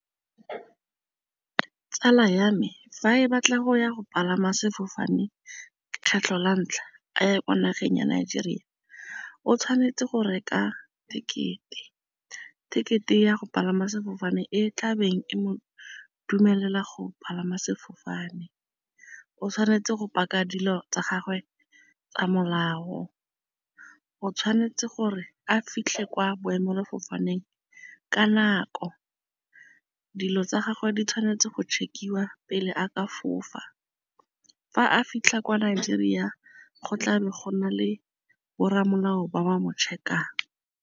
Tsala ya me fa e batla go ya go palama sefofane kgetlho la ntlha a ya kwa nageng ya nigeria o tshwanetse go reka ticket-e, ticket-e ya go palama sefofane e tlabeng e mo dumelela go palama sefofane o tshwanetse go paka dilo tsa gagwe tsa molao, o tshwanetse gore a fitlhe kwa boemafofaneng ka nako, dilo tsa gagwe di tshwanetse go check-iwa pele a ka fofa. Fa a fitlha kwa Nigeria go tla be go na le boramolao ba wa mo check-ang.